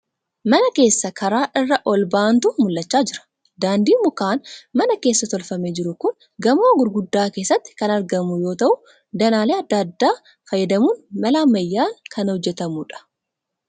Mana keessa karaa irra ol ba'aantu mul'achaa jira. Daandiin mukaan mana keessa tolfamee jiru kun gamoo gurguddaa keessatti kan argamu yoo ta'u danaalee adda addaa fayyadamuun mala ammayyaan kan hojjetamuudha.